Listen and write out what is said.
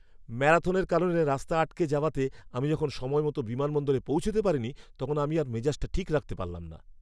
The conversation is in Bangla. ম্যারাথনের কারণে রাস্তা আটকে যাওয়াতে আমি যখন সময়মতো বিমানবন্দরে পৌঁছাতে পারিনি তখন আমি আর মেজাজটা ঠিক রাখতে পারলাম না!